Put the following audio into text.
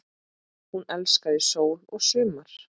Hún elskaði sól og sumar.